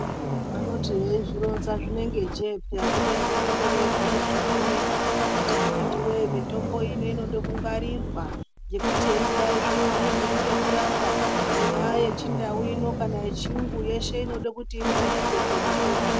Vanoti veizvironza zvinenge jee peya kubeni vanenge veibhuya zvemene kuti akhiti voye mitombo ino inode kungwarirwa. Ngekuti heinodai zvino haibviri ngekurapa ingaa yechindau ino kana yechiyungu yeshe inode kuti ingwarirwe peya mitombo.